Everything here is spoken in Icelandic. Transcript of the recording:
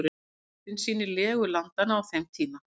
Fyrsta myndin sýnir legu landanna á þeim tíma.